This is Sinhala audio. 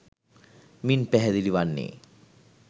මින් පැහැදිලි වන්නේ